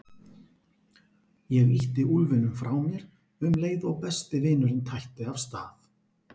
Ég ýtti úlfinum frá mér um leið og besti vinurinn tætti af stað.